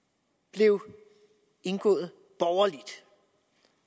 blev indgået borgerligt